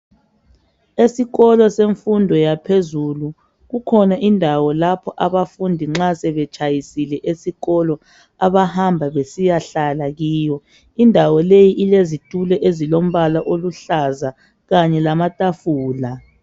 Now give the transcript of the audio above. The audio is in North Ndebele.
Esikolo semfundo yaphezulu kukhona indawo lapho abafundi nxa sebetshayisile esikolo abahamba besiya hlala kiyo indawo leyo ilesitulo ezilompala oluhlaza kanye lamatafula.